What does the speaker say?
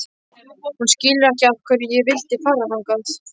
Hún skilur ekki af hverju ég vildi fara hingað.